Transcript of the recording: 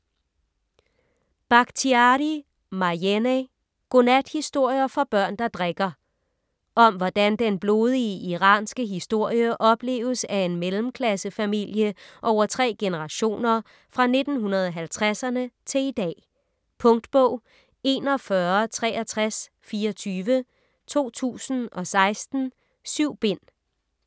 Bakhtiari, Marjaneh: Godnathistorier for børn der drikker Om hvordan den blodige iranske historie opleves af en mellemklassefamilie over tre generationer fra 1950'erne til i dag. Punktbog 416324 2016. 7 bind.